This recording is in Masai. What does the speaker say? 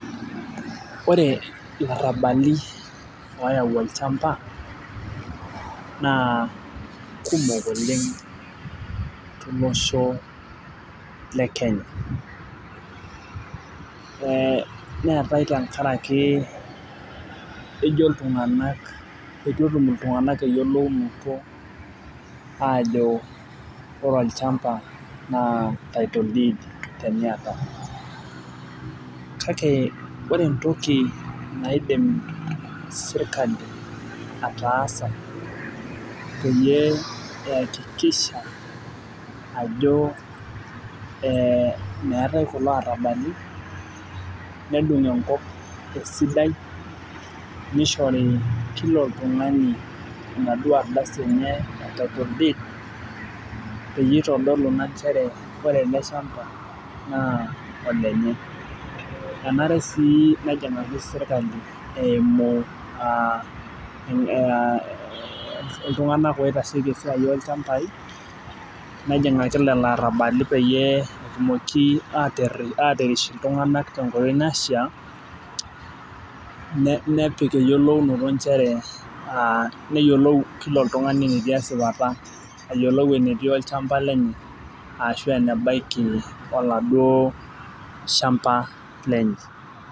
ore ilarabali ooyau olchamba naa kumok oleng' tolosho lekenya neetae tenkaraki etu etum iltung'anak eyilounoto ajo ore olchamba naa title deed tiniyata kake ore entoki naidim sirkali ataasa peyie eyakikisha meetae kulo arabali , nedung' enkop esidai nishori kila oltung'ani enaduoo ardasi enye title deed peyie itodolu ina inchere ore ele shamba naa olenye enare sii nenyikaki serikali eemu iltung'anak loitasheki esiai oolchambai , nejing'aki lelo arabali peyie etumoki aatirish iltung'anak tenkoitoi naishaa, nepik eyiolou noto inchere nepik kila oltung'ani enetii esipata ayiolou enetii olchamba lenye aashu ene baki olaaduu shamba lenye.